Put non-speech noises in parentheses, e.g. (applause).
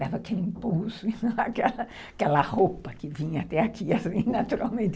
Dava aquele impulso, (laughs) aquela roupa que vinha até aqui, assim, naturalmente.